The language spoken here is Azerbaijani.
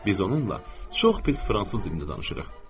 Biz onunla çox pis fransız dilində danışırıq.